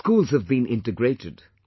Schools have been integrated